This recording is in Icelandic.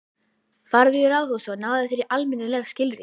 Farðu í ráðhúsið og náðu þér í almennileg skilríki.